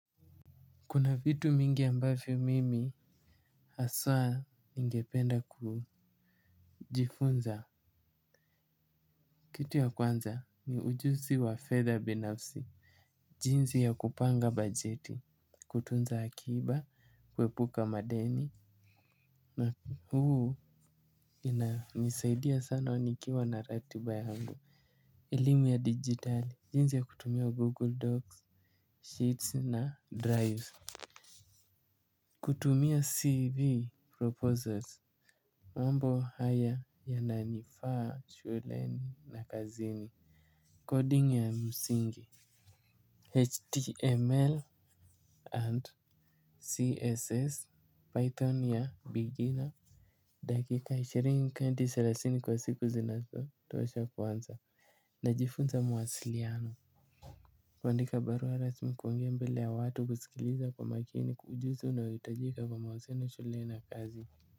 Kuna vitu mingi ambavyo mimi haswa ningependa kujifunza. Kitu ya kwanza ni ujuzi wa fedha binafsi, jinsi ya kupanga bajeti, kutunza akiba, kuepuka madeni na huu inisaidia sana nikiwa na ratiba yangu. Elimu ya digitali, jinsi ya kutumia Google Docs, Sheets na Drive. Kutumia CV Proposals. Mambo haya yananifaa shuleni na kazini Coding ya msingi HTML and CSS Python ya beginner. Dakika ishirini kenti thelathini kwa siku zinazotosha kuanza. Najifunza mawasiliano. Kuandika barua rasmi kuongea mbele ya watu kusikiliza kwa makini ujuzi unaohitajika kwa mawasiliano na shuleni na kazi.